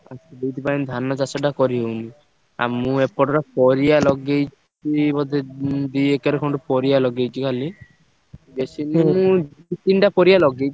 ଆଉ ସେଇଥିପାଇଁ ଧାନ ଚାଷଟା କରିହଉନି। ଆଉ ମୁଁ ଏପଟରେ ପରିବା ~ଲଗେଇ ~ଚି ବୋଧେ ଉଁ ଦି ଏକର ଖଣ୍ଡେ ପରିବା ଲଗେଇଛି ଖାଲି। ବେଶୀ ମୁଁ ଦି ତିନିଟା ପରିବା ଲଗେଇଛି।